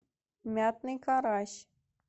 мятный карась